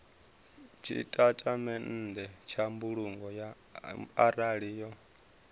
tshitatamennde tsha mbulungo arali yo